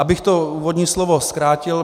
Abych to úvodní slovo zkrátil.